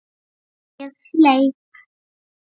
Ég hleyp.